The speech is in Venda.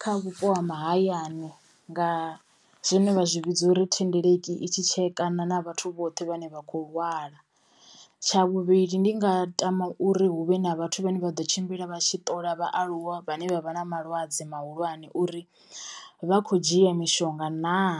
kha vhupo ha mahayani nga zwine vha zwi vhidza uri thendeleki i tshi tshekana na vhathu vhoṱhe vhane vha khou lwala, tsha vhuvhili ndi nga tama uri huvhe na vhathu vhane vha ḓo tshimbila vha tshi ṱola vhaaluwa vhane vha vha na malwadze mahulwane uri vha khou dzhia mishonga naa.